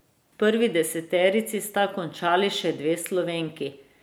V prvi deseterici sta končali še dve Slovenki.